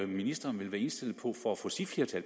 ministeren vil være indstillet på for at få sit